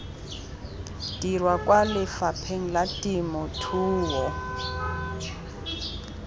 dirwa kwa lefapheng la temothuo